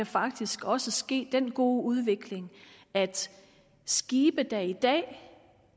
faktisk også ske den gode udvikling at skibe der i dag